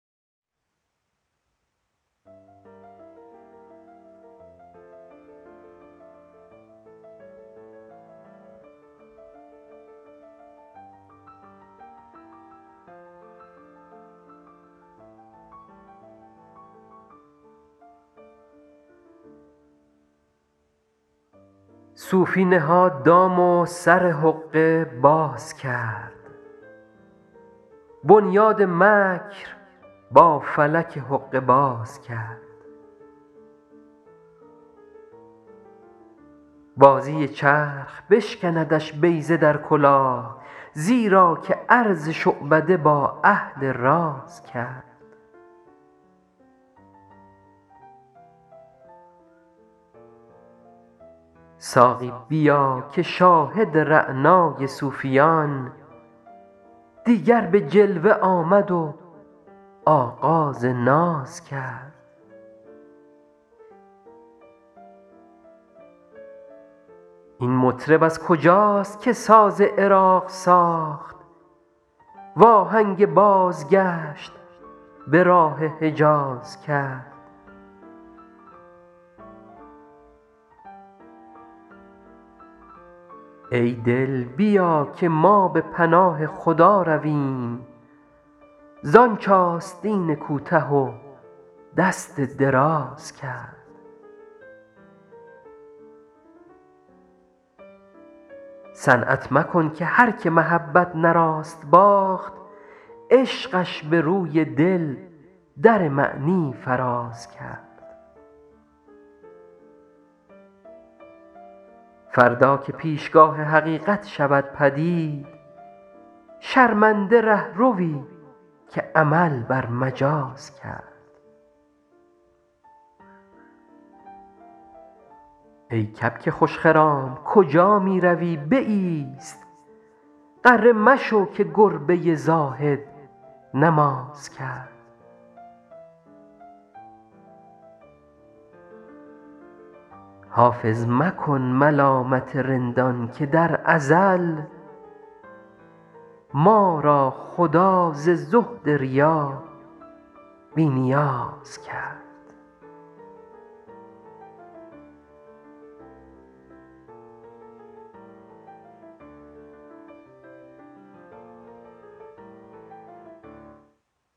صوفی نهاد دام و سر حقه باز کرد بنیاد مکر با فلک حقه باز کرد بازی چرخ بشکندش بیضه در کلاه زیرا که عرض شعبده با اهل راز کرد ساقی بیا که شاهد رعنای صوفیان دیگر به جلوه آمد و آغاز ناز کرد این مطرب از کجاست که ساز عراق ساخت وآهنگ بازگشت به راه حجاز کرد ای دل بیا که ما به پناه خدا رویم زآنچ آستین کوته و دست دراز کرد صنعت مکن که هرکه محبت نه راست باخت عشقش به روی دل در معنی فراز کرد فردا که پیشگاه حقیقت شود پدید شرمنده رهروی که عمل بر مجاز کرد ای کبک خوش خرام کجا می روی بایست غره مشو که گربه زاهد نماز کرد حافظ مکن ملامت رندان که در ازل ما را خدا ز زهد ریا بی نیاز کرد